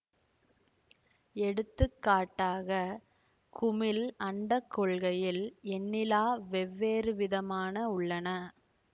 எடுத்துக்காட்டாக குமிழ் அண்ட கொள்கையில் எண்ணிலா வெவ்வேறுவிதமான உள்ளன